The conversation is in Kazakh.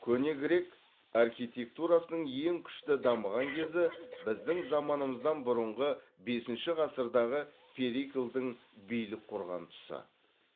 көне грек архитектурасының ең күшті дамыған кезі біздің заманымыздан бұрынғы бесінші ғасырдағы периклдың билік құрған тұсы